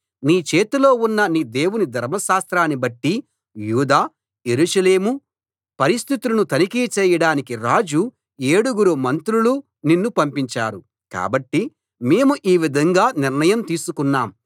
నీ చేతిలో ఉన్న నీ దేవుని ధర్మశాస్త్రాన్ని బట్టి యూదా యెరూషలేము పరిస్థితులను తనిఖీ చేయడానికి రాజు ఏడుగురు మంత్రులు నిన్ను పంపించారు కాబట్టి మేము ఈ విధంగా నిర్ణయం తీసుకున్నాం